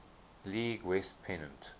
league west pennant